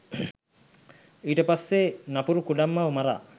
ඊට පස්සේ නපුරු කුඩම්මව මරා